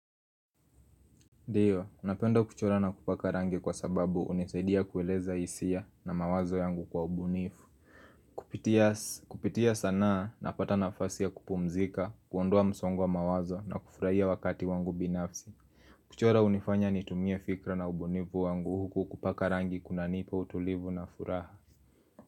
Ndiyo, napenda kuchora na kupaka rangi kwa sababu hunisaidia kueleza hisia na mawazo yangu kwa ubunifu Kupitia sanaa napata nafasi ya kupumzika, kuondoa msongwo wa mawazo na kufurahia wakati wangu binafsi kuchora hunifanya nitumie fikra na ubunifu wangu huku kupaka rangi kunanipa utulivu na furaha.